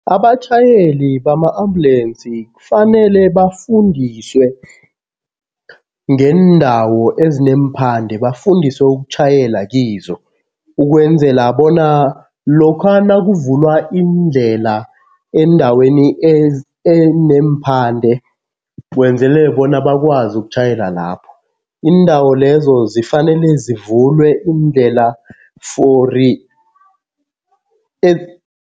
Abatjhayeli bama-ambulensi kufanele bafundiswe ngeendawo ezineemphande, bafundiswe ukutjhayela kizo. Ukwenzela bona lokha nakuvulwa iindlela eendaweni eneemphande kwenzelele bona bakwazi ukutjhayela lapho. Iindawo lezo zifanele zivulwe iindlela